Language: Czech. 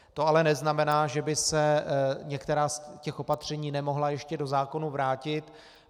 To ale neznamená, že by se některá z těch opatření nemohla ještě do zákona vrátit.